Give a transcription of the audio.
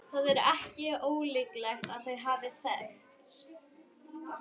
Það er ekki ólíklegt að þau hafi þekkst.